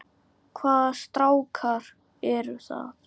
Hvaða strákar eru það?